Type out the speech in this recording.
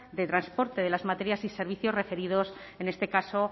de transporte de las materias y servicios referidos en este caso